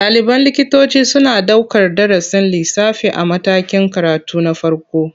Ɗaliban likitoci suna ɗaukar darasin lissafi a matakin karatu na farko.